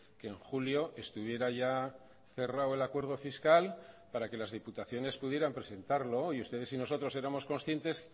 que en julio estuviera ya cerrado el acuerdo fiscal para que las diputaciones pudieran presentarlo y ustedes y nosotros éramos conscientes